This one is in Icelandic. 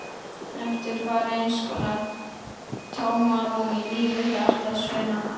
Eftir varð eins konar tómarúm í lífi hjarðsveinanna.